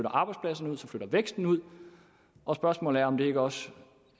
arbejdspladserne ud så flytter væksten ud og spørgsmålet er om der ikke også